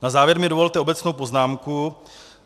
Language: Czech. Na závěr mi dovolte obecnou poznámku.